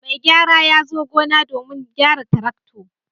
Mai gyara ya zo gona jiya domin gyara traktor.